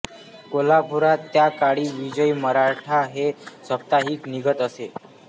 कोल्हापुरात त्या काळी विजयी मराठा हे साप्ताहिक निघत असे